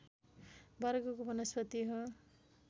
वर्गको वनस्पति हो